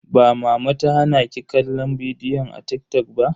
Ba mama ta hana ki kallon bidiyoyin a TikTok ba?